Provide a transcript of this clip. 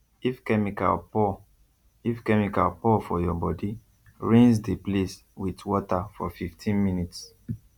if chemical pour if chemical pour for your body rinse the place with water for 15 minutes